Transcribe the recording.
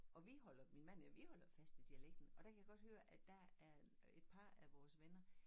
Og vi holder min mand og jeg vi holder fast i dialekten og der kan jeg godt høre at der er øh et par af vores venner